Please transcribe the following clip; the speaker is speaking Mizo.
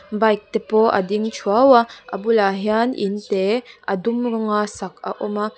bike te pawh a ding thuau a a bulah hian inte a dum rawnga sak a awm a.